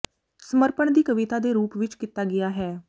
ਸਮਰਪਣ ਵੀ ਕਵਿਤਾ ਦੇ ਰੂਪ ਵਿਚ ਕੀਤਾ ਗਿਆ ਹੈ